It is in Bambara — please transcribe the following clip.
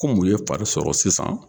Kom'u ye fari sɔrɔ sisan.